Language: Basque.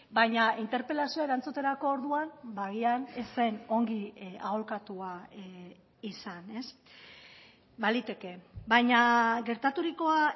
baina interpelazioa erantzuterako orduan agian ez zen ongi aholkatua izan baliteke baina gertaturikoa